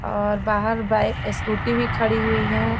और बाहर bike scooty भी खाड़ी हुई है।